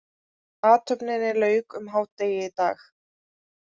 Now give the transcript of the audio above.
Athöfninni lauk um hádegi í dag